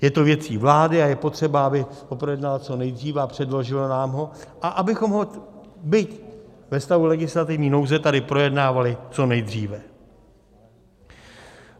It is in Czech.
Je to věcí vlády a je potřeba, aby ho projednala co nejdříve a předložila nám ho, a abychom ho byť ve stavu legislativní nouze tady projednávali co nejdříve.